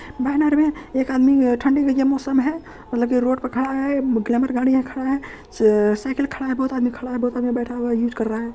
Banner है एक आदमी ठंडी के अ ये मौसम है लगे रोड पे खड़ा है ग्लैमर गाड़ी है खड़ा है अ अ साइकिल खड़ा है बहुत आदमी खड़ा है बहुत आदमी बैठा हुआ है यूज कर रहा है।